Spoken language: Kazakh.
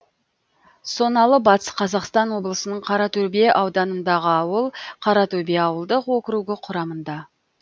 соналы батыс қазақстан облысының қаратөбе ауданындағы ауыл қаратөбе ауылдық округі құрамында